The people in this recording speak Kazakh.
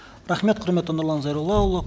рахмет құрметті нұрлан зайроллаұлы